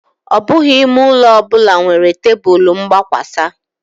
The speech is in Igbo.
Ọ bụghị ime ụlọ ọ bụla nwere tebụl mgbakwasa